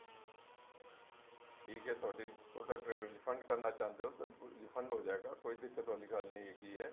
ਠੀਕ ਐ ਤੁਹਾਡੀ product refund ਕਰਨਾ ਚਾਹੁੰਦੇ ਹੋ ਤੇ refund ਹੋ ਜਾਏਗਾ ਕੋਈ ਦਿੱਕਤ ਵਾਲੀ ਗੱਲ ਨਹੀਂ ਹੈਗੀ ਐ